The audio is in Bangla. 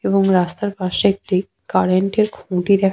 এবং রাস্তার পাশে একটি কারেন্ট -এর খুঁটি দেখা --